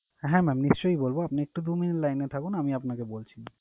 হ্যাঁ mam নিশ্চয়ই বলবো। আপনি একটু দু minute line এ থাকুন আমি আপনাকে বলছি।